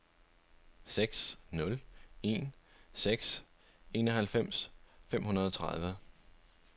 seks nul en seks enoghalvfems fem hundrede og tredive